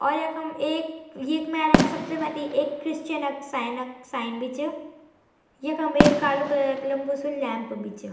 और यखम एक यिंक मेरक सबसे मथ्थी एक क्रिसचन क साईंन क साईंन भी च यखम एक कालू कलर क लम्बू सी लैंप भी च।